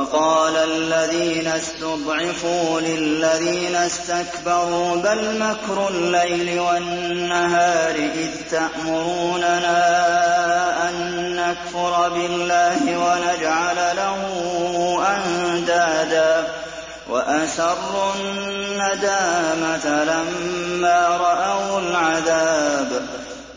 وَقَالَ الَّذِينَ اسْتُضْعِفُوا لِلَّذِينَ اسْتَكْبَرُوا بَلْ مَكْرُ اللَّيْلِ وَالنَّهَارِ إِذْ تَأْمُرُونَنَا أَن نَّكْفُرَ بِاللَّهِ وَنَجْعَلَ لَهُ أَندَادًا ۚ وَأَسَرُّوا النَّدَامَةَ لَمَّا رَأَوُا الْعَذَابَ